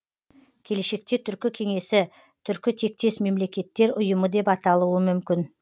келешекте түркі кеңесі түркітектес мемлекеттер ұйымы деп аталуы мүмкін